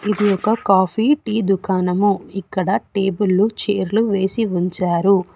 ఇది ఒక coffee tea దుకాణము ఇక్కడ టేబుళ్లు చేర్లు వేసి ఉంచారు.